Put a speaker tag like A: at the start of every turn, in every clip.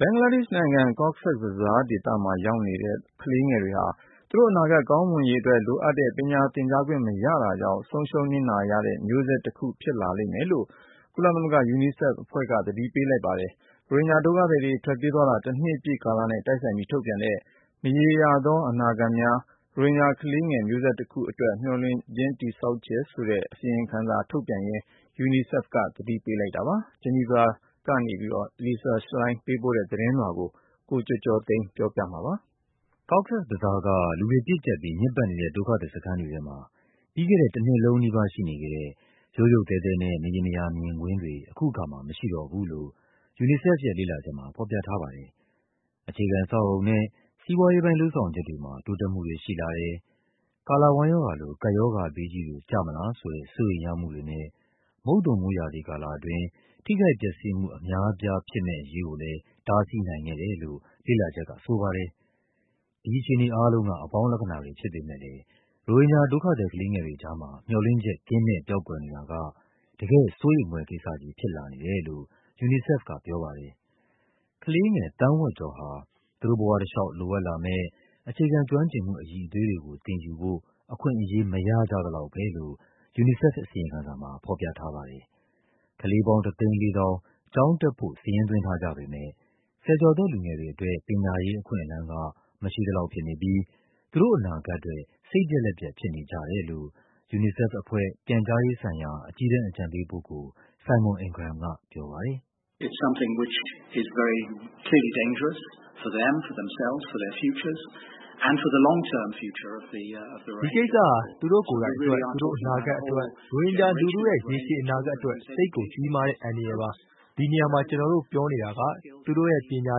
A: ဘင်္ဂလားဒေ့ရှ်နိုင်ငံ၊ Cox’s Bazar ဒေသမှာရောက်နေတဲ့ ကလေးငယ်တွေဟာ သူတို့အနာဂတ်ကောင်းမွန်ရေး အတွက်လိုအပ်တဲ့ ပညာသင်ကြားခွင့်မရတာကြောင့် ဆုံးရှုံးနစ်နာရတဲ့မျိုးဆက်တခု ဖြစ်လာလိမ့်မယ်လို့ ကုလသမဂ္ဂ ကလေး သူငယ်များရန်ပုံငွေအဖွဲ့ UNICEF က သတိပေးလိုက်ပါတယ်။ မြန်မာနိုင်ငံကနေ ရိုဟင်ဂျာဒုက္ခသည်တွေ ထွက်ပြေးသွားတာ တနှစ်ပြည့် နှစ်ပတ်လည်အချိန်ကာလနဲ့ တိုက်ဆိုင်ပြီး ထုတ်ပြန်တဲ့ “မရေရာသော အနာဂတ်များ - ရိုဟင်ဂျာကလေးငယ် မျိုးဆက်တခုအတွက် မျှော်လင့်ချက် တည်ဆောက်ခြင်း” ဆိုတဲ့ အစီရင်ခံစာထုတ်ပြန်ရင်း UNICEF က အဲဒီလို သတိပေး လိုက်တာပါ။ ဂျီနီဗာကနေ Lisa Schlein ပေးပို့တဲ့သတင်းလွှာကို ကိုကျော်ကျော်သိန်းက ပြောပြပါမယ်။ Cox’s
B: Bazar က လူတွေပြည့်ကျပ်ပြီး ညစ်ပတ်နေတဲ့ ဒုက္ခသည်စခန်းတွေထဲမှာ ပြီးခဲ့တဲ့ တနှစ်လုံးနီးပါး ရှိနေခဲ့တဲ့ ရုတ်ရုတ်သဲသဲနဲ့ မရေမရာမြင်ကွင်းတွေ အခုအခါမှာ မရှိတော့ဘူးလို့ UNICEF ရဲ့ လေ့လာချက်မှာ ဖော်ပြထားပါတယ်။ အခြေခံ အဆောက်အအုံနဲ့ စီးပွားရေးပိုင်း လုပ်ဆောင်ချက်တွေမှာ တိုးတက်မှုတွေ ရှိလာတယ်၊ ကာလဝမ်းရောဂါလို ကပ်ရောဂါဘေးကြီး တွေ ကျမလားဆိုတဲ့ စိုးရိမ်ရမှုတွေနဲ့ မုတ်သုံမိုးရာသီကာလအတွင်း ထိခိုက်ပျက်စီးမှု အများအပြားဖြစ်မယ့်အရေးကိုလည်း တားဆီးနိုင်ခဲ့တယ်လို့ လေ့လာချက်ကဆိုပါတယ်။ ဒီအခြေအနေအားလုံးက အပေါင်းလက္ခဏာတွေဖြစ်ပေမဲ့လည်း ရိုဟင်ဂျာ ဒုက္ခသည်ကလေးငယ်တွေကြားမှာ မျှော်လင့်ချက် ကင်းမဲ့ပျောက်ကွယ်နေတာက တကယ့်စိုးရိမ်ဖွယ်ကိစ္စကြီး ဖြစ်လာနေတယ်လို့ UNICEF ကပြောပါတယ်။ ကလေးငယ် သန်း ဝက်ကျော်ဟာ သူတို့ဘဝတလျှောက် လိုအပ်လာမယ့် အခြေခံကျွမ်းကျင်မှု အရည်အသွေးတွေကို သင်ယူဖို့ အခွင့်အရေး မရကြ သလောက်ပဲလို့ UNICEF အစီရင်ခံစာမှာ ဖော်ပြထားပါတယ်။ ကလေးပေါင်း ၁၄၀,၀၀၀ ကျောင်းတက်ဖို့ စာရင်းသွင်းထားကြပေမဲ့ ဆယ်ကျော်သက်လူငယ်တွေအတွက် ပညာရေးအခွင့်အလန်း က မရှိသလောက်ဖြစ်နေပြီး သူတို့အနာဂတ်အတွက် စိတ်ပျက်လက်ပျက် ဖြစ်နေကြတယ်လို့ UNICEFအဖွဲ့ ပြန်ကြားရေးဆိုင်ရာ အကြီးတန်းအကြံပေးပုဂ္ဂိုလ် Simon Ingram ကပြောပါတယ်။ “ဒီကိစ္စဟာ သူတို့ကိုယ်တိုင်အတွက်၊ သူတို့အနာဂတ်အတွက်
C: ၊ ရိုဟင်ဂျာလူထုရဲ့ ရေရှည်အနာဂတ်အတွက် သိပ်ကို ကြီးမားတဲ့အန္တရာယ်ပါ။ ဒီနေရာမှာ ကျနော်တို့ပြောနေတာက သူတို့ရဲ့ပညာ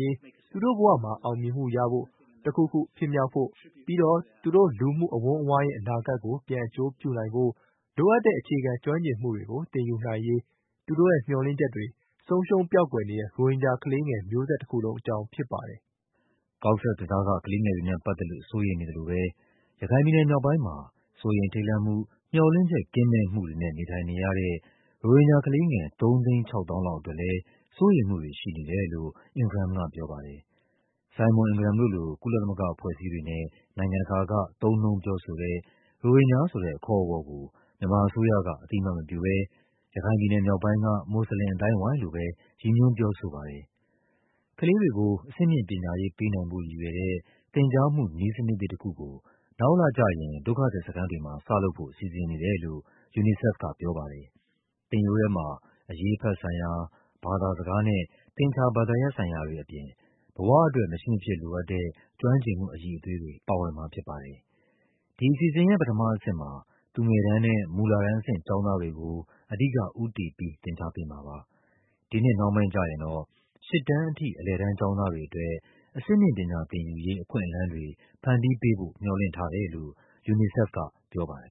C: ရေး၊ သူတို့ဘဝမှာ အောင်မြင်မှုရဖို့၊ တခုခု ဖြစ်မြောက်ဖို့၊ ပြီးတော့ သူတို့လူမှုအဝန်းအဝိုင်းရဲ့ အနာဂတ်ကို ပြန်အကျိုးပြုနိုင်ဖို့ လိုအပ်တဲ့ အခြေခံကျွမ်းကျင်မှုတွေကို သင်ယူ နိုင်ရေး သူတို့ရဲ့မျှော်လင့်ချက်တွေ ဆုံးရှုံးပျောက်ကွယ်နေတဲ့ ရိုဟင်ဂျာကလေးငယ် မျိုးဆက်တခုလုံးအကြောင်းဖြစ်ပါတယ်။”
B: Cox’s Bazar က ကလေးငယ်တွေနဲ့ပတ်သက်လို့ စိုးရိမ်နေသလိုပဲ ရခိုင်ပြည်နယ်မြောက်ပိုင်းမှာ စိုးရိမ်ထိတ်လန့်မှု၊ မျှော်လင့်ချက် ကင်းမဲ့မှုတွေနဲ့ နေထိုင်နေရတဲ့ ရိုဟင်ဂျာကလေးငယ် ၃၆၀,၀၀၀ လောက်အတွက်လည်း စိုးရိမ်မှုတွေရှိနေတယ်လို့ Ingram က ပြောပါတယ်။ Simon Ingram တို့လို ကုလသမဂ္ဂအဖွဲ့အစည်းတွေနဲ့ နိုင်ငံတကာက သုံးနှုန်းပြောဆိုတဲ့ ရိုဟင်ဂျာဆိုတဲ့ အခေါ်အဝေါ်ကို မြန်မာ အစိုးရက အသိအမှတ်မပြုဘဲ ရခိုင်ပြည်နယ်မြောက်ပိုင်းက မွတ်ဆလင်အသိုင်းအဝိုင်းလို့ပဲ ရည်ညွှွန်း ပြောဆိုပါတယ်။ ကလေးတွေကို အဆင့်မြင့်ပညာရေး ပေးနိုင်ဖို့ရည်ရွယ်တဲ့ သင်ကြားမှုနည်းစနစ်သစ်တခုကို နောက်လကျရင် ဒုက္ခသည်စခန်း တွေမှာ စလုပ်ဖို့ စီစဉ်နေတယ်လို့ UNICEF ကပြောပါတယ်။ သင်ရိုးထဲမှာ အရေးအဖတ်ဆိုင်ရာ၊ ဘာသာစကားနဲ့ သင်္ချာဘာသာ ရပ်ဆိုင်ရာတွေအပြင် ဘဝအတွက် မရှိမဖြစ်လိုအပ်တဲ့ ကျွမ်းကျင်မှုအရည်အသွေးတွေ ပါဝင်မှာဖြစ်ပါတယ်။ ဒီအစီအစဉ်ရဲ့ ပထမအဆင့်မှာ သူငယ်တန်းနဲ့ မူလတန်းအဆင့် ကျောင်းသားတွေကို အဓိက ဦးတည်ပြီး သင်ကြားပေးမှာပါ။ ဒီနှစ် နှောင်းပိုင်းကျရင်တော့ ၈ တန်းအထိ အလယ်တန်းကျောင်းသားတွေအတွက် အဆင့်မြင့်ပညာသင်ယူရေး အခွင့်အလန်းတွေ ဖန်တီးပေးဖို့ မျှော်လင့်ထားတယ်လို့ UNICEF က ပြောပါတယ်